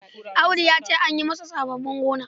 Audu ya ce an yi masa sassaben gona.